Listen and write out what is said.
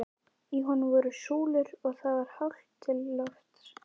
Í honum voru súlur og það var hátt til lofts.